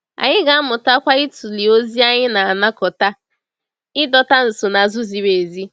Anyị ga-amụtakwa ịtụle ozi anyị na-anakọta, ịdọta nsonaazụ ziri ezi.